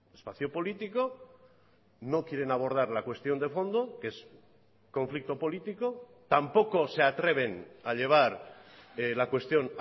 espacio político no quieren abordar la cuestión de fondo que es conflicto político tampoco se atreven a llevar la cuestión